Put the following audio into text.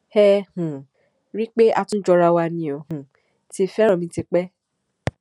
ẹ um rí i pé a tún jọra wa ni ó um ti fẹràn mi tipẹ